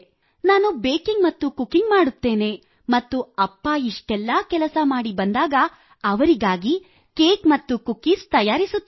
ನಾನು ಬೇಕಿಂಗ್ ಮತ್ತು ಕುಕಿಂಗ್ ಮಾಡುತ್ತೇನೆ ಮತ್ತು ಅಪ್ಪ ಇಷ್ಟೆಲ್ಲ ಕೆಲಸ ಮಾಡಿ ಬಂದಾಗ ಅವರಿಗಾಗಿ ಕೇಕ್ ಮತ್ತು ಕುಕ್ಕೀಸ್ ತಯಾರಿಸುತ್ತೇನೆ